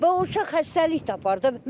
Və o uşaq xəstəlik tapar da.